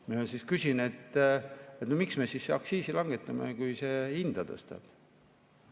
Ma küsin, et miks me siis aktsiisi langetame, kui see hinda tõstab.